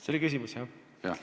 See oli küsimus, jah?